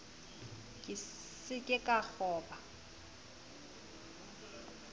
ke se ke ka kgoba